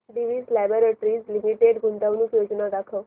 Divi's Laboratories Limited गुंतवणूक योजना दाखव